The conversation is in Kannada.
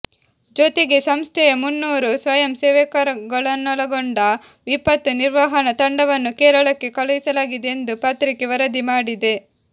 ಜೊತೆಗೆ ಸಂಸ್ಥೆಯ ಮುನ್ನೂರು ಸ್ವಯಂ ಸೇವಕರನ್ನೊಳಗೊಂಡ ವಿಪತ್ತು ನಿರ್ವಹಣ ತಂಡವನ್ನು ಕೇರಳಕ್ಕೆ ಕಳುಹಿಸಲಾಗಿದೆ ಎಂದು ಪತ್ರಿಕೆ ವರದಿ ಮಾಡಿದೆ